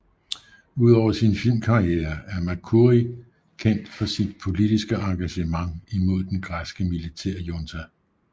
Ud over sin filmkarriere er Mercouri kendt for sit politiske engagement imod den græske militærjunta